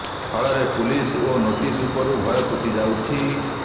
ଫଳରେ ପୁଲିସ ଓ ନୋଟିସ ଉପରୁ ଭୟ ତୁଟି ଯାଉଛି